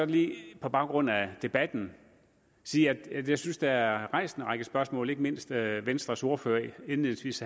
lige på baggrund af debatten sige at jeg synes at der er rejst en række spørgsmål ikke mindst havde venstres ordfører indledningsvis